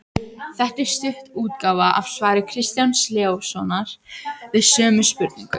Þetta er stytt útgáfa af svari Kristjáns Leóssonar við sömu spurningu.